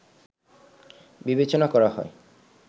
বিবেচনা করা হয়